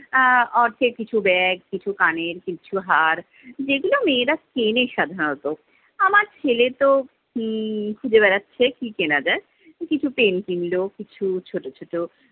আহ অর্থে কিছু ব্যাগ, কিছু কানের, কিছু হাড়-যেগুলো মেয়েরা কেনে সাধারনত। আমার ছেলে তো উম খুজে বেড়াচ্ছে-কি কেনা যায়! কিছু pant কিনলো, কিছু ছোট ছোট